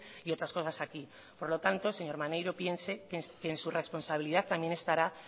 y otras cosas aquí por lo tanto señor maneiro piense que en su responsabilidad también estará